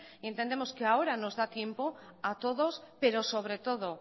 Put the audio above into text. entendemos que ahora nos da tiempo a todos pero sobre todo